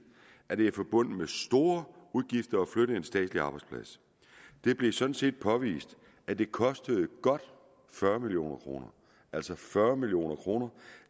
at det er forbundet med store udgifter at flytte en statslig arbejdsplads det blev sådan set påvist at det kostede godt fyrre million kroner altså fyrre million kroner